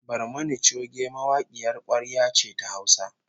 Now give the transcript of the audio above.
Barmani choge mawakiyar kwarya ce ta Hausa